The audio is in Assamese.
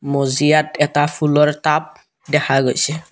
মজিয়াত এটা ফুলৰ টাব দেখা গৈছে।